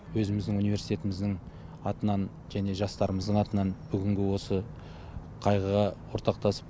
өзіміздің университетіміздің атынан және жастарымыздың атынан бүгінгі осы қайғыға ортақтасып